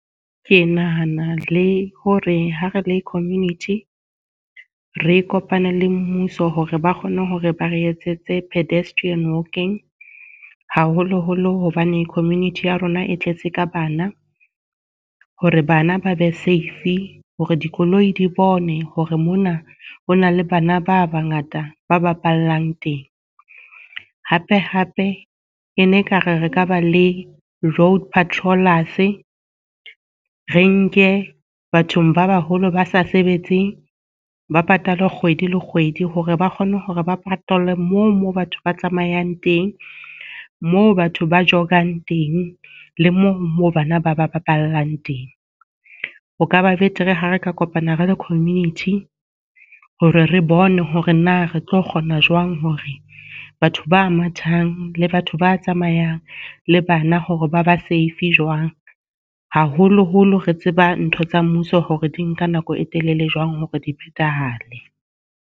Ke nahana le ho re ha re le community, re kopane le mmuso hore ba kgone hore ba re etsetse pedestrian walking. Haholoholo hobane community ya rona e tletse ka bana. Hore bana ba be save, hore dikoloi di bone hore mona ho na le bana ba ba ngata ba bapallang teng. Hape hape e ne e ka re re ka ba le road patrollers, re nke bathong ba baholo ba sa sebetseng ba patalwe kgwedi le kgwedi hore ba kgone hore ba patalwe moo moo batho ba tsamayang teng, moo batho ba jog-ang teng, le mo moo bana ba ba bapallang teng. Ho kaba betere ha re ka kopana re le community hore re bone hore na re tlo kgona jwang hore batho ba mathang, le batho ba tsamayang, le bana, hore ba ba save jwang. Haholoholo re tseba ntho tsa mmuso hore di nka nako e telele jwang hore di phethahale.